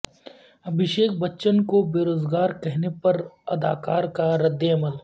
ابھیشک بچن کو بیروزگار کہنے پر اداکار کا ردعمل